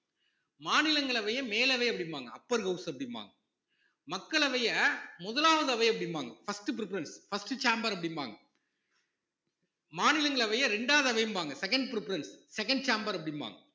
மாநிலங்களவைய மேலவை அப்படிம்பாங்க upper house அப்படிம்பாங்க மக்களவைய முதலாவது அவை அப்படிம்பாங்க first preference first chamber அப்படிம்பாங்க மாநிலங்களவைய இரண்டாவது அவைம்பாங்க second preference second chamber அப்படிம்பாங்க